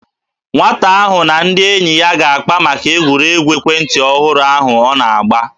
Nwata ahụ na ndị enyi ya ga-akpa maka egwuregwu ekwentị ọhụrụ ahụ ọ na-agba